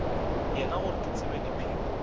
yena gore ke tsebe diphiri